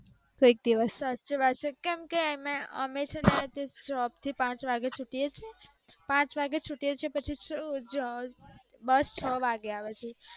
સાચે મા જ કેમકે એમે અમે છે ને જોબ થઈ પાંચ વાગે છુટીએ છીએ પાંચ વાગે છુટીએ અ અ પછી બસ છ વાગે આવે છે